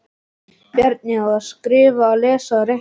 Bjarni: Að skrifa og lesa og reikna